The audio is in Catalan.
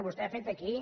vostè ha fet aquí